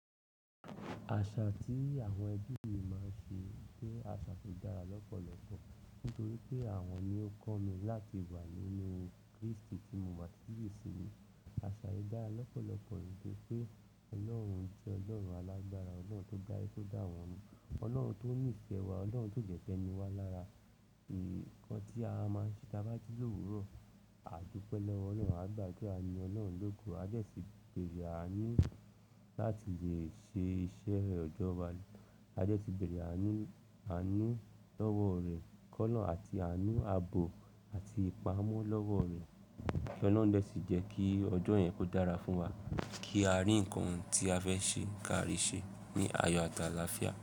Àṣà tí àwọn ẹbí mi máa ń ṣe jẹ́ àṣà tó dára lọ́pọ̀lọpọ̀ nítorí pé àwọn ni ó kọ́ mi láti wà nínú Krístì tí mo bà tíì sí. Àṣà yìí dára lọ́pọ̀lọpọ̀ nítorí pé Ọlọ́run jẹ́ Ọlọ́run alágbára, Ọlọ́run tó dá aye dà wọ́n, Ọlọ́run tó nìfẹ̀ẹ́ wa, Ọlọ́run tio de fe ni wá lára. Ìkàn tí a máa ń ṣe tí a bá ji lówuró, a dúpẹ́ lọ́wọ Ọlọ́run, a gbàdura à yin Ọlọ́run lógo, a desí bẹ̀rẹ̀ àánú láti lè ṣe iṣẹ́ ọjọ́ wa. A desí bẹ̀rẹ̀ àánú, àánú lọ́wọ́ rẹ̀ ki olorun àti àánú abo àti ìpamọ́ lọ́wọ́ rẹ̀ kí Ọlọ́run lè sì jẹ́ kí ọjọ́ yẹn kó dára fún wa, kí a rí ǹkan ti a fẹ́ ṣe káàrí ṣe ní ayọ̀, àti aláfià.